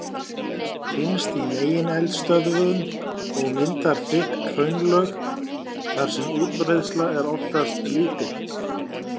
Finnst í megineldstöðvum og myndar þykk hraunlög þar sem útbreiðsla er oftast lítil.